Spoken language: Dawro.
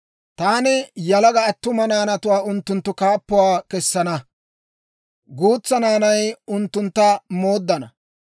Taani yalaga attuma naanatuwaa unttunttu kaappuwaa kessana; guutsaa naanay unttuntta mooddana.